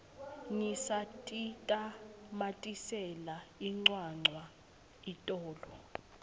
ngisatitamatisela incwancwa itolo